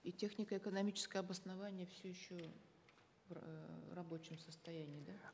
и технико экономическое обоснование все еще в эээ рабочем состоянии да